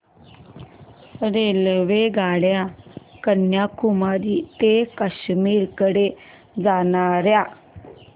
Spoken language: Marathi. रेल्वेगाड्या कन्याकुमारी ते काश्मीर कडे जाणाऱ्या